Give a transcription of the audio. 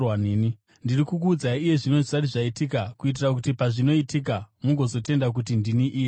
“Ndiri kukuudzai iye zvino zvisati zvaitika, kuitira kuti pazvinoitika mugozotenda kuti ndini Iye.